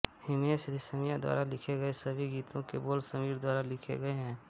हिमेश रेशमिया द्वारा लिखे गए सभी गीतों के बोल समीर द्वारा लिखे गए हैं